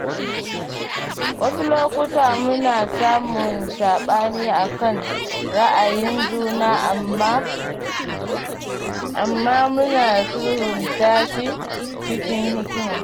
Wasu lokuta muna samun saɓani a kan ra’ayin juna amma muna sulhunta shi cikin hikima.